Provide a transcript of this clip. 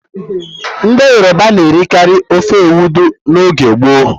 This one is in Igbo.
Ndị Yoroba na-erikarị ofe Ewedú n'oge gboo.